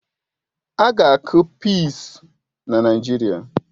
A ga-akụ pịịsi na Naijiria